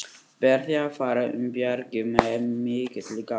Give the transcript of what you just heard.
Ber því að fara um bjargið með mikilli gát.